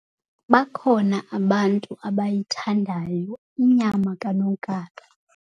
Bakhona abantu abayithandayo inyama kanonkala.